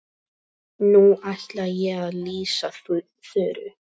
Nú ætla ég að lýsa Þuru.